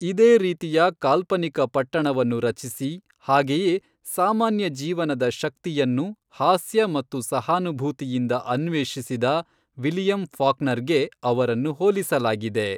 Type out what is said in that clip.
ಇದೇ ರೀತಿಯ ಕಾಲ್ಪನಿಕ ಪಟ್ಟಣವನ್ನು ರಚಿಸಿ ಹಾಗೆಯೇ ಸಾಮಾನ್ಯ ಜೀವನದ ಶಕ್ತಿಯನ್ನು ಹಾಸ್ಯ ಮತ್ತು ಸಹಾನುಭೂತಿಯಿಂದ ಅನ್ವೇಷಿಸಿದ ವಿಲಿಯಂ ಫಾಕ್ನರ್ಗೆ ಅವರನ್ನು ಹೋಲಿಸಲಾಗಿದೆ.